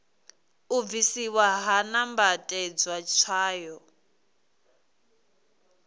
u bvisiwa ha nambatedzwa tswayo